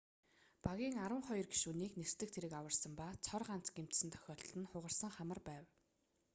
багийн арван хоёр гишүүнийг нисдэг тэрэг аварсан ба цор ганц гэмтсэн тохиолдол нь хугарсан хамар байв